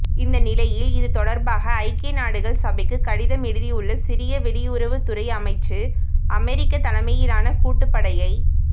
இந்தநிலையில் இதுதொடர்பாக ஐக்கிய நாடுகள் சபைக்கு கடிதம் எழுதியுள்ள சிரிய வெளியுறவு துறை அமைச்சு அமெரிக்கா தலைமையிலான கூட்டு படையை